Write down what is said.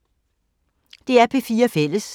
DR P4 Fælles